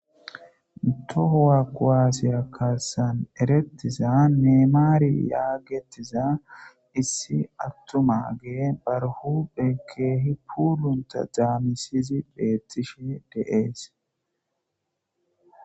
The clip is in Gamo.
Tohowua kuwasiya eretiza nemare yagetiza issi atumage bar huphe kehi puluntha danatisidi betishe dee's